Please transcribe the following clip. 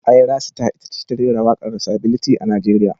Ayra Star ita ce ta rera waken sability a Najeriya.